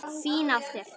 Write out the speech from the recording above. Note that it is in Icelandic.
Fín af þér.